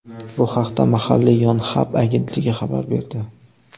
Bu haqda mahalliy Yonhap agentligi xabar berdi .